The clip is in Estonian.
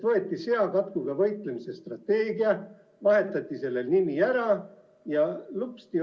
Võeti seakatkuga võitlemise strateegia, vahetati sellel nimi ära ja lupsti!